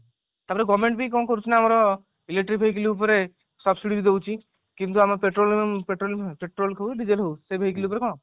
ତାପରେ government ବି କଣ କରୁଛି ଆମର electric vehicle ଉପରେ subsidy ରହୁଛି କିନ୍ତୁ ଆମ ପେଟ୍ରୋଲିୟମ ପେଟ୍ରୋଲ କି ଡିଜେଲ ହଉ ସେଇ vehicle ଉପରେ